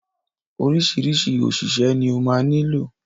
Oríṣiríṣi òṣìṣẹ́ ni ó ma nílò.